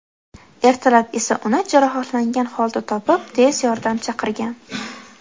Ertalab esa uni jarohatlangan holda topib, tez yordam chaqirgan.